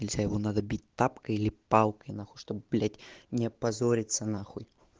и все равно надо бить тапком или палкой на хуй что блять не опозориться на хуй